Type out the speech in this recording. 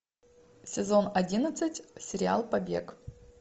сезон одиннадцать сериал побег